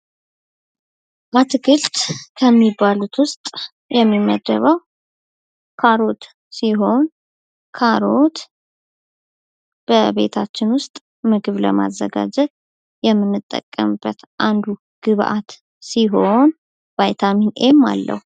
አትክልት ከሚባሉት ውስጥ የሚመደበው ካሮት ሲሆን ካሮት በቤታችን ውስጥ ምግብ ለማዘጋጀ የምንጠቀምበት አንዱ ግብዓት ሲሆን ቫይታሚን ኤም አለው።